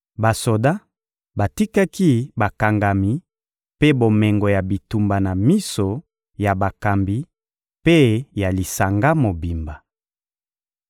Basoda batikaki bakangami mpe bomengo ya bitumba na miso ya bakambi mpe ya lisanga mobimba.